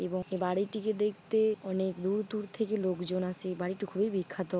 এবং এ বাড়িটিকে দেখতে অনেক দূর দূর থেকে লোকজন আসে এই বাড়িটি খুবই বিখ্যাত।